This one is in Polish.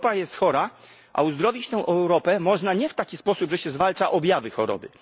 Europa jest chora, a uzdrowić tę Europę można nie w taki sposób, że się zwalcza objawy choroby.